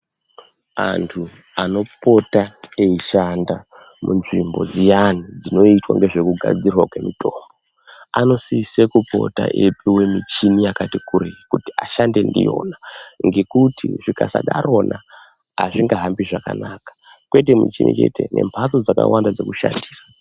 Antu anopota eishanda munzvimbo dziyanai dzinoitwa nezvekugadzirwa kwemitombo anosisa kupota eipihwa michina yakati kurei kuti ashande ndiyona ngekuti zvikasadarona hazvingahambi zvakanaka kwete michina chete nembatso dzakawanda dzekushandira.